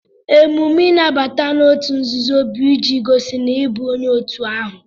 Emume nnabata n'òtù nzuzo bu iji gosi na ị bụ onye òtù ahụ